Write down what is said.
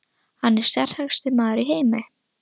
Hann er sterkasti maður í heimi!